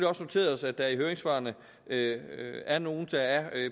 også noteret os at der i høringssvarene er nogle der er